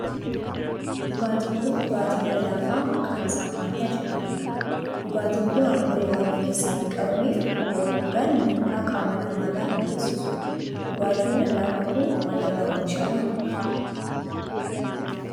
Dhugaatin kun dhugaatii lallaafaa maqaan isaa faantaa jedhamudha. Dhugaatin kun alkoolii waan of keessaa hin qabneef yeroo dhugan miidhaa qaama namaa irraan hin geessisu. Dhugaatiin lallaafaa kun maal irraa oomishama?